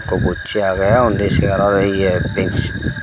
ikko bocche agey undi segaro ye benchi.